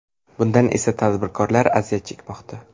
Bundan esa tadbirkorlar aziyat chekmoqda.